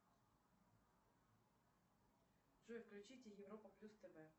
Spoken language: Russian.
джой включите европа плюс тв